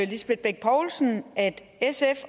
lisbeth bech poulsen at sf